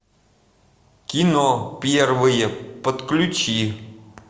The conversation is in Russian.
кино первые подключи